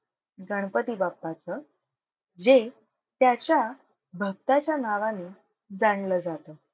गणपती बाप्पाचं जे त्याच्या भक्ताच्या नावाने जाणलं जातं.